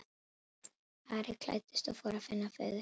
Ari klæddist og fór að finna föður sinn.